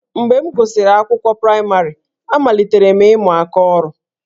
Mgbe m gụsịrị akwụkwọ praịmarị, amalitere m ịmụ aka ọrụ